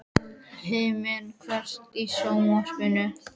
Himri, kveiktu á sjónvarpinu.